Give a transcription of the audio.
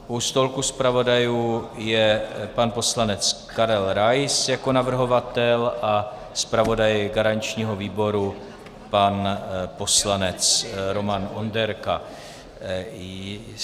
U stolku zpravodajů je pan poslanec Karel Rais jako navrhovatel a zpravodaj garančního výboru pan poslanec Roman Onderka.